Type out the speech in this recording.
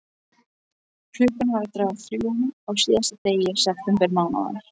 Klukkan var að ganga þrjú á síðasta degi septembermánaðar.